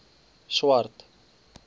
swart